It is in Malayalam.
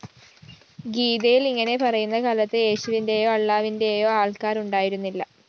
ഗീതയില്‍ ഇങ്ങനെ പറയുന്ന കാലത്ത് യേശുവിന്റെയോ അള്ളാവിന്റെയോ ആള്‍ക്കാര്‍ ഉണ്ടായിരുന്നില്ല